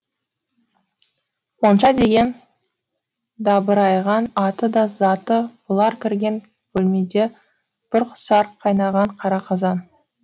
монша деген дабырайған аты да заты бұлар кірген бөлмеде бұрқ сарқ қайнаған қара қазан